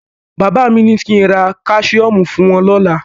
Bàbá mi ní kí ń ra Káṣíọ́mù fún wọ́n lọ́la.